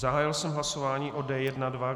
Zahájil jsem hlasování o D1.2.